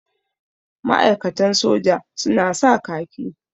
Ma'aikatan soja su na sa kaki.